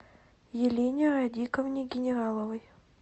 елене радиковне генераловой